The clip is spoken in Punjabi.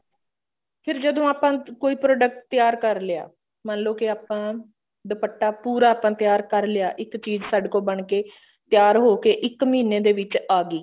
ਫਿਰ ਜਦੋਂ ਆਪਾਂ ਕੋਈ product ਤਿਆਰ ਕਰਲਿਆ ਮਨ ਲੋ ਕੇ ਆਪਾਂ ਦੁਪੱਟਾ ਪੂਰਾ ਤਿਆਰ ਕਰਲਿਆ ਇੱਕ ਚੀਜ਼ ਸਾਡੇ ਕੋਲ ਬਣ ਕੇ ਤਿਆਰ ਹੋਕੇ ਇੱਕ ਮਹੀਨੇ ਦੇ ਵਿੱਚ ਆ ਗਈ